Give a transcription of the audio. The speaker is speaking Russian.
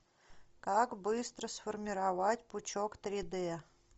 как быстро сформировать пучок три д